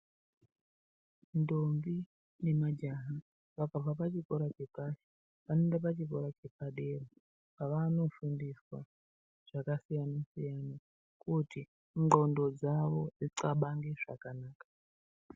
Ntombi nemajaha vakabva pachikora chepashi vanoenda pachikora chepadera pavanofundiswa zvakasiyana siyana kuti ndxondo dzavo dzindxabange zvakanaka.